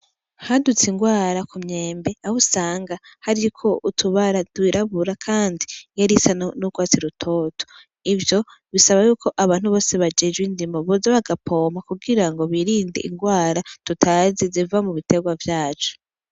Hadutse indwara ku myembe aho usanga hariko utubara tw'irabura kandi yarisa n'urwatsi rutoto, ivyo bisaba yuko abantu bose bajejwe indimo bose boza bagapompa kugira ngo birinde indwara tutazi ziva mu bitegwa vyacu.